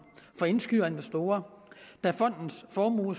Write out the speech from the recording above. for indskydere og investorer da fondens formue